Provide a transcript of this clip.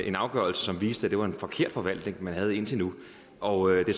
en afgørelse som viste at det var en forkert forvaltning man havde indtil nu og det